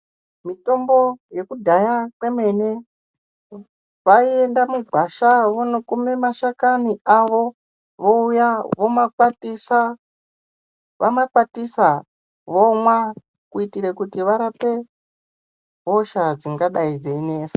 Mitombo yekudhaya kwemene vaienda mugwasha vonokuma mashakani avo, vouya vomakwatisa, vamakwatisa vomwa, kuitire kuti varape hosha, dzingadai dzeinesa.